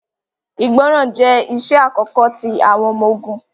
Ìgbọràn jẹ iṣẹ akọkọ ti awọn ọmọ-ogun.